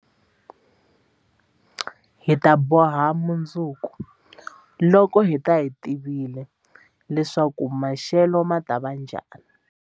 Hi ta boha mundzuku, loko hi ta va hi tivile leswaku maxelo ma ta va njhani?